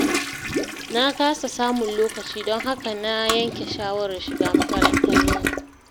Na kasa samun lokaci, don haka na yanke shawarar shiga makarantar dare.